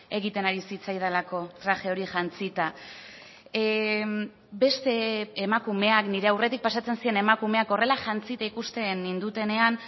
egiten ari zitzaidalako traje hori jantzita beste emakumeak nire aurretik pasatzen ziren emakumeak horrela jantzita ikusten nindutenean